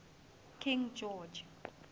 king george